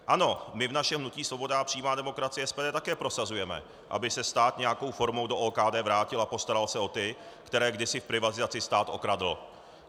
Ano, my v našem hnutí Svoboda a přímá demokracie, SPD, také prosazujeme, aby se stát nějakou formou do OKD vrátil a postaral se o ty, které kdysi v privatizaci stát okradl.